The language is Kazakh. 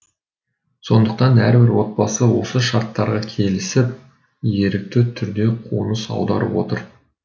сондықтан әрбір отбасы осы шарттарға келісіп ерікті түрде қоныс аударып отыр